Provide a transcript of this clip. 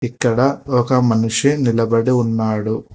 ఇక్కడ ఒక మనిషి నిలబడి ఉన్నాడు.